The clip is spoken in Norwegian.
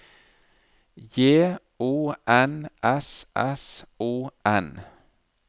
J O N S S O N